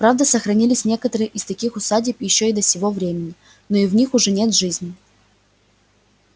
правда сохранились некоторые из таких усадеб ещё и до сего времени но в них уже нет жизни